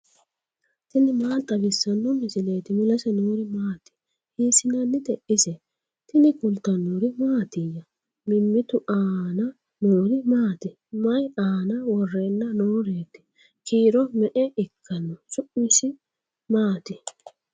tini maa xawissanno misileeti ? mulese noori maati ? hiissinannite ise ? tini kultannori mattiya? Mimittu aanna noori maatti? Mayi aanna worrenna nooreetti? Kiiro me'e ikkanno? Su'misi maatti?